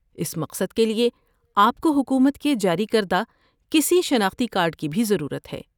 اس مقصد کے لیے آپ کو حکومت کے جاری کردہ کسی شناختی کارڈ کی بھی ضرورت ہے۔